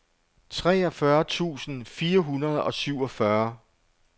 treogfyrre tusind fire hundrede og syvogfyrre